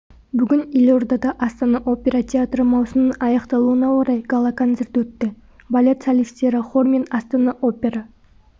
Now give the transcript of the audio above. бүгін елордада астана опера театры маусымының аяқталуына орай гала-концерт өтті балет солистері хор мен астана опера